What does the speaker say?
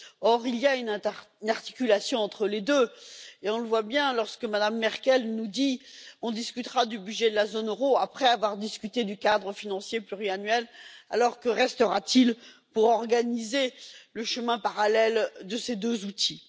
Or, il y a une articulation entre les deux et on le voit bien lorsque Mme Merkel nous dit On discutera du budget de la zone euro après avoir discuté du cadre financier pluriannuel. Alors que restera t il pour organiser le chemin parallèle de ces deux outils?